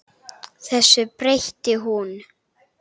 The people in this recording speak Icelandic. Þessu breytti hún.